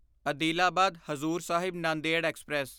Adilabad Hazur Sahib Nanded express